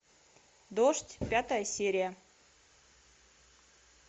дождь пятая серия